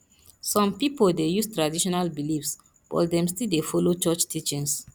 some pipo dey use traditional beliefs but dem still dey follow church teachings